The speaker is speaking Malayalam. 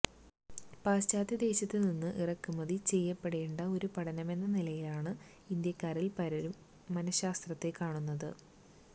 പാശ്ചാത്യദേശത്തുനിന്ന് ഇറക്കുമതി ചെയ്യപ്പെടേണ്ട ഒരു പഠനമെന്ന നിലയിലാണ് ഇന്ത്യാക്കാരിൽ പലരും മനഃശാസ്ത്രത്തെ കാണുന്നത്